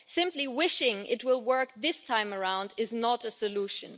Simply wishing it will work this time around is not a solution.